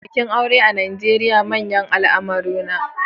Bikin aure a Najeriya manyan al'amura ne.